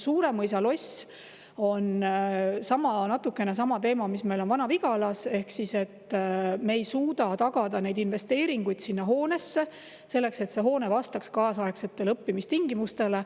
Suuremõisa lossiga on natukene sama teema, mis meil on Vana-Vigalas: me ei suuda tagada investeeringuid sinna hoonesse selleks, et hoone vastaks kaasaegsetele õppimistingimustele.